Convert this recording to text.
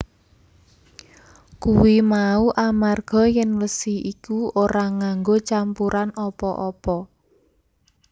Kuwi mau amarga yèn wesi iku ora nganggo campuran apa apa